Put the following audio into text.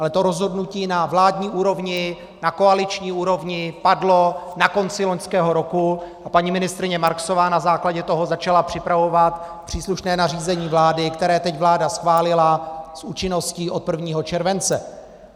Ale to rozhodnutí na vládní úrovni, na koaliční úrovni, padlo na konci loňského roku a paní ministryně Marksová na základě toho začala připravovat příslušné nařízení vlády, které teď vláda schválila s účinností od 1. července.